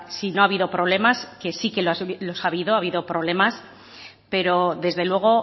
si no ha habido problemas que sí que los ha habido ha habido problemas pero desde luego